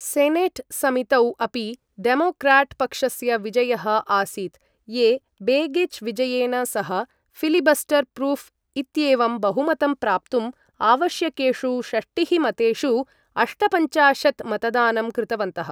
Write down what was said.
Senate समितौ अपि Democrat पक्षस्य विजयः आसीत्, ये बेगिच् विजयेन सह, फिलिबस्टर् प्रूफ् इत्येवं बहुमतं प्राप्तुम् आवश्यकेषु षष्टिः मतेषु अष्टपञ्चाशत् मतदानं कृतवन्तः।